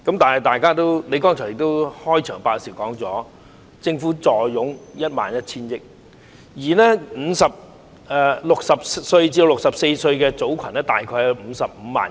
但是，你剛才在開場發言時說政府坐擁 11,000 億元，而60歲至64歲的組群大概有55萬人。